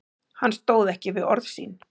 Hann stóð ekki við orð sín.